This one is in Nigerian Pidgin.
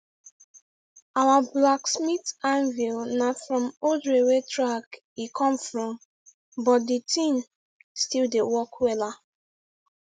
our blacksmith anvil na from old railway track e come from but de thing still dey work wella